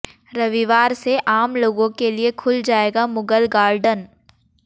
रविवार से आम लोगों के लिए खुल जाएगा मुगल गार्डन